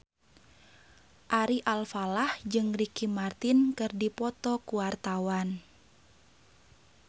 Ari Alfalah jeung Ricky Martin keur dipoto ku wartawan